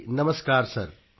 ਜੀ ਨਮਸਕਾਰ ਸਰ